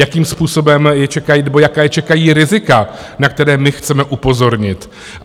Jakým způsobem je čekají - nebo jaká je čekají rizika, na která my chceme upozornit.